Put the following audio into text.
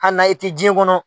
Anaye e te diɲɛ kɔnɔ.